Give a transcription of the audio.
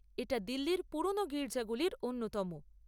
এটা দিল্লির পুরোনো গির্জাগুলির অন্যতম।